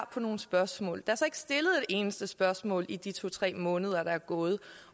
på nogle spørgsmål der er så ikke stillet et eneste spørgsmål i de to tre måneder der er gået